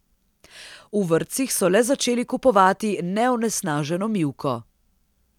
V vrtcih so le začeli kupovati neonesnaženo mivko.